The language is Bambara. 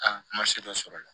A ma se dɔ sɔrɔ la